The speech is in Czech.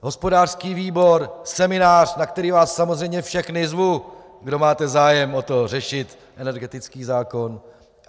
Hospodářský výbor, seminář, na který vás samozřejmě všechny zvu, kdo máte zájem o to, řešit energetický zákon.